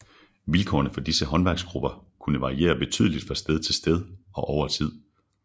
Vilkårene for disse håndværksgrupper kunne variere betydeligt fra sted til sted og over tid